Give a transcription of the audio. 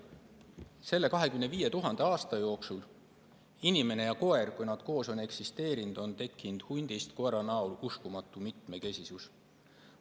Selle 25 000 aasta jooksul, kui inimene ja koer on koos eksisteerinud, on tekkinud hundist koera näol uskumatu mitmekesisus.